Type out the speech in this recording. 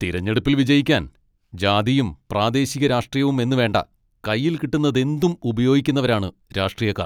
തിരഞ്ഞെടുപ്പിൽ വിജയിക്കാൻ ജാതിയും പ്രാദേശിക രാഷ്ട്രീയവും എന്നുവേണ്ട, കയ്യിൽ കിട്ടുന്നതെന്തും ഉപയോഗിക്കുന്നവരാണ് രാഷ്ട്രീയക്കാർ.